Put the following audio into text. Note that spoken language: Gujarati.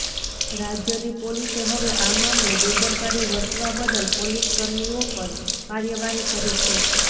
રાજ્યની પોલીસે હવે આ મામલે બેદરકારી વર્તવા બદલ પોલીસકર્મીઓ પર કાર્યવાહી કરી છે